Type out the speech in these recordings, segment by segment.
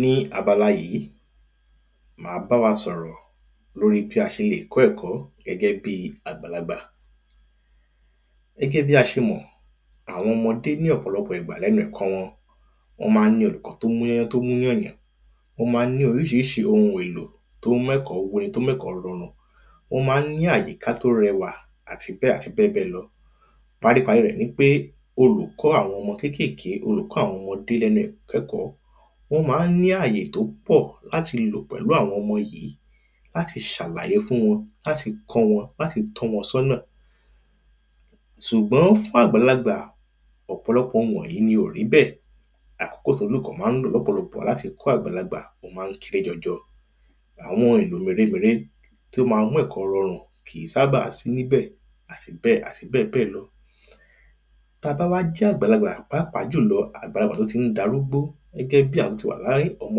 Ní abala yìí ma bá wa sọ̀rọ̀ lórí bí a ṣe lè kọ́ ẹ̀kọ́ gẹ́gẹ́ bíi àgbàlagbà Gẹ́gẹ́ bí a ṣe mọ̀ àwọn ọmọdé ní ọ̀pọ̀lọpọ̀ ìgbà ní ẹnu ẹ̀kọ́ wọn Wọn máa ń ní olùkọ̀ọ́ tí ó múyányán tí ó múyànyàn Wọ́n máa ń ní oríṣiríṣi oun èlò tí o ń mú ẹ̀kọ́ wu ẹni tí ó mú ẹ̀kọ́ rọrùn Wọ́n máa ń ní àyíká tí ó rẹwà àti bẹ́ẹ̀ àti bẹ́ẹ̀ lọ Paríparí rẹ̀ ni wípé olùkọ́ àwọn ọmọ kékèké olùkọ́ àwọn ọmọdé ní ẹnu ìkẹ́kọ̀ọ́ wọ́n máa ní àyè tí ó pọ̀ láti lò pẹ̀lú àwọn ọmọ yìí láti ṣàlàyé fún wọn láti kọ́ wọn láti tọ́ wọn sí ọ̀nà Ṣùgbọ́n fún àgbàlagbà ọ̀pọ̀lọpọ̀ oun wọ̀nyìí ni ò rí bẹ́ẹ̀ Akókò tí olùkọ́ máa ń lò lọ́pọ̀lọpọ̀ láti kọ́ àgbàlagbà ó máa ń kéré jọjọ Àwọn èlò mèremère tí ó máa ń mú ẹ̀kọ́ rọrùn kìi ́sábà sí níbẹ̀ àti bẹ́ẹ̀ àti bẹ́ẹ̀bẹ́ẹ̀ lọ Tí a bá wá jẹ́ àgbàlagbà pàápàá jùlọ àgbàlagbà tí o tí ń darúgbó gẹ́gẹ́ bí àwọn tí o ti wà ní ọmọ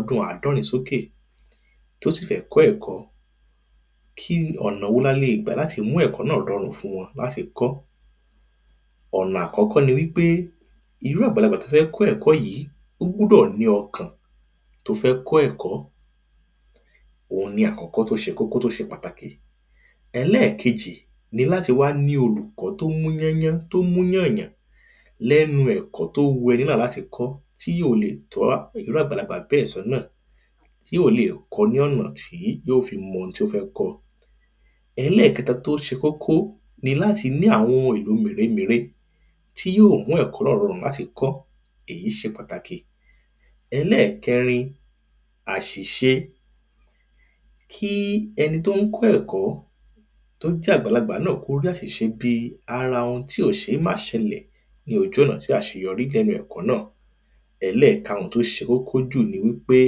ọdún àádọ́rin sókè tí ó sì fẹ́ kọ́ ẹ̀kọ́ kí ọ̀nà wo ni a lè gbà láti mú ẹ̀kọ́ náà rọrùn fún wọn láti kọ́ Ọ̀nà àkọ́kọ́ ni wípé irú àgbàlagbà tí ó fẹ́ ẹ̀kọ́ yìí ó gbọ́dọ̀ ní ọkàn tí ó fẹ́ kọ́ ẹ̀kọ́ Oun ni àkókò tí ó ṣe kókó tí ó ṣe pàtàkì Ẹlẹ́ẹ̀kejì ni láti wá ní olùkọ́ tí ó múyányán tí ó múyànyàn lẹ́nu ẹ̀kọ́ tí ó wu ẹni náà láti kọ́ tí yóò lè tọ́ irú àgbàlagbà bẹ́ẹ̀ sí ọ̀nà tí yóò lè kọ ní ọ̀nà tí yóò fi mọ oun tí ó fẹ́ kọ́ Ẹlẹ́ẹ̀kẹta tí ó ṣe kókó ni láti ní àwọn oun èlò mèremère tí yóò mú ẹ̀kọ́ náà rọrùn láti kọ́ èyí ṣe pàtàkì Ẹlẹ́ẹ̀kẹrin àṣìṣe Kí ẹni tí ó ń kọ́ ẹ̀kọ́ tí ó jẹ́ àgbàlagbà náà kí ó rí àṣìṣe bíi ara oun tí ó ṣeé má ṣẹlẹ̀ ní ojú ọ̀nà sí àṣeyọrí lẹ́nu ẹ̀kọ́ náà Ẹlẹ́ẹ̀karun tí ó ṣe kókó jù ni wípé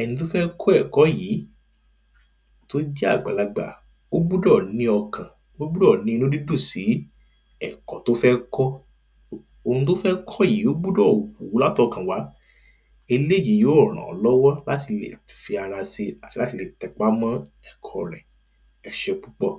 ẹni tí ó fẹ́ kọ́ ẹ̀kọ́ yìi ́tí ó jẹ́ àgbàlagbà ó gbọ́dọ̀ ní ọkàn ó gbọ́dọ̀ ní inú dídùn sí ẹ̀kọ́ tí ó fẹ́ kọ́ Oun tí ó fẹ́ kọ́ yìí ó gbọ́dọ̀ wù ú láti ọkàn wá eléyì yóò ràn án lọ́wọ́ láti lè fi ara si àti láti lè tẹpá mọ́ ẹ̀kọ́ rẹ̀ E ṣé púpọ̀